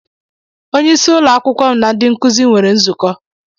Onyeisí ụlọ akwụkwọ m na ndị nkụzi nwere nzukọ.